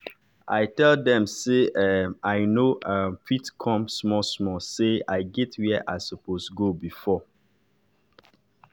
i tell dem say um i nor um fit come small small say i get where i suppose go before.